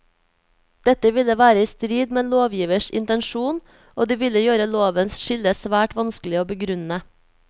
Dette ville være i strid med lovgivers intensjon, og det ville gjøre lovens skille svært vanskelig å begrunne.